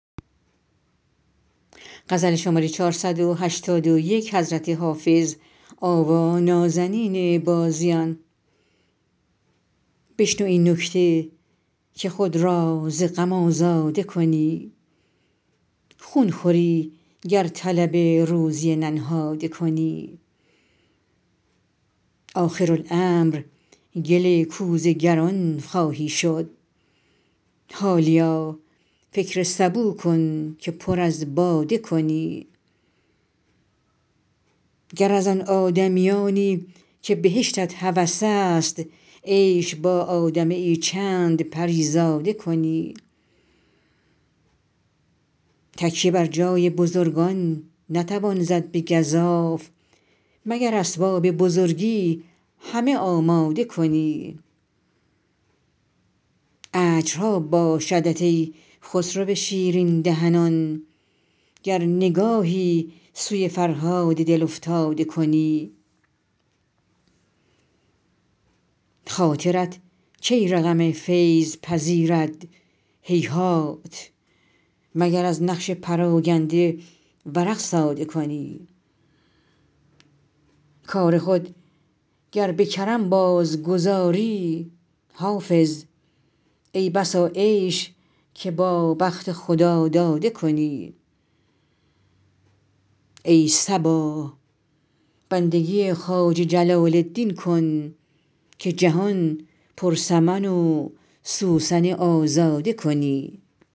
بشنو این نکته که خود را ز غم آزاده کنی خون خوری گر طلب روزی ننهاده کنی آخرالامر گل کوزه گران خواهی شد حالیا فکر سبو کن که پر از باده کنی گر از آن آدمیانی که بهشتت هوس است عیش با آدمی یی چند پری زاده کنی تکیه بر جای بزرگان نتوان زد به گزاف مگر اسباب بزرگی همه آماده کنی اجرها باشدت ای خسرو شیرین دهنان گر نگاهی سوی فرهاد دل افتاده کنی خاطرت کی رقم فیض پذیرد هیهات مگر از نقش پراگنده ورق ساده کنی کار خود گر به کرم بازگذاری حافظ ای بسا عیش که با بخت خداداده کنی ای صبا بندگی خواجه جلال الدین کن که جهان پر سمن و سوسن آزاده کنی